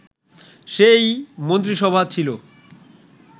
সেই মন্ত্রিসভা ছিল